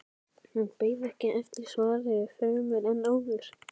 Hún beið ekki eftir svari fremur en áður.